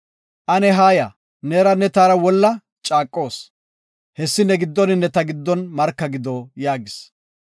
Ane haaya, neeranne taara wolla ane caaqoos. Hessi ne giddoninne ta giddon marka gido” yaagis.